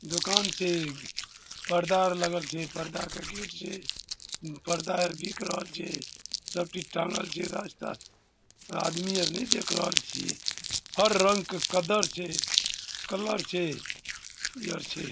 दुकान छिये इ परदा आर लगल छै परदा का गेट छै परदा आर दिख रहल छै सब किच्छ टाँगल छै रास्ता आदमी आर ने देख रहल छीये हर रंग के कदर छै कलर छै इ आर छै --